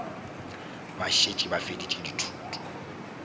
ba šetše ba feditše dithuto